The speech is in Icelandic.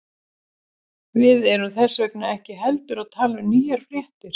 Við erum þess vegna ekki heldur að tala um nýjar fréttir.